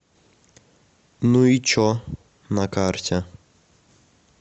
ну и че на карте